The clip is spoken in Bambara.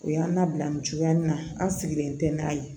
U y'an labila nin cogoya in na an sigilen tɛ n'a ye